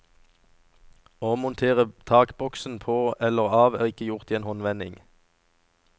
Å montere takboksen på eller av er ikke gjort i en håndvending.